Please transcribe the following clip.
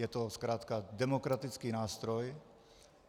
Je to zkrátka demokratický nástroj.